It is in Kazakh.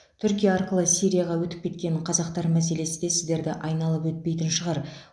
түркия арқылы сирияға өтіп кеткен қазақтар мәселесі де сіздерді айналып өтпейтін шығар